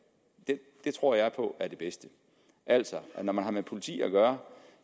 det tror jeg på er det bedste altså når man har med politi at gøre